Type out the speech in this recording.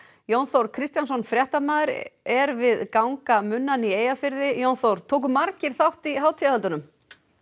Jón Þór Kristjánsson fréttamaður er við gangamunnan í Eyjafirði Jón Þór tóku margir þátt í hátíðarhöldunum